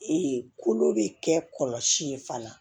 kolo bɛ kɛ kɔlɔsi ye fana